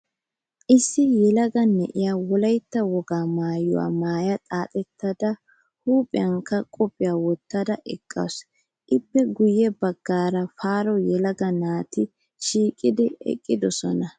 Issi yelaga na'iyaa wolayitta wogaa maayyuwaa maaya xaaxettada huuphiyankka qophiyaa wottada eqqaasu. Ippe guyye baggan faro yelaga naati shiiqidi eqqidosona.